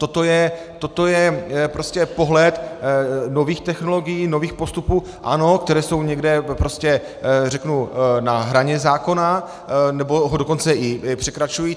Toto je prostě pohled nových technologií, nových postupů, ano, které jsou někde prostě, řeknu, na hraně zákona, nebo ho dokonce i překračují.